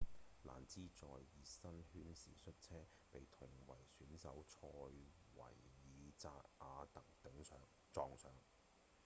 蘭茲在熱身圈時摔車被同為選手的賽維爾‧札亞特撞上